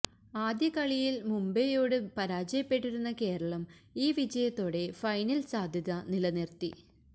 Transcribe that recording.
ആദ്യ കളിയില് മുംബയോട് പരാജയപ്പെട്ടിരുന്ന കേരളം ഈ വിജയത്തോടെ ഫൈനല് സാധ്യത നിലനിര്ത്തി